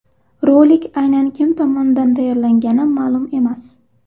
Rolik aynan kim tomonidan tayyorlangani ma’lum emas.